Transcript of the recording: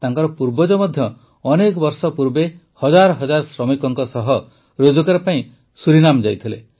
ତାଙ୍କର ପୂର୍ବଜ ମଧ୍ୟ ଅନେକ ବର୍ଷ ପୂର୍ବେ ହଜାର ହଜାର ଶ୍ରମିକଙ୍କ ସହ ରୋଜଗାର ପାଇଁ ସୁରିନାମ୍ ଯାଇଥିଲେ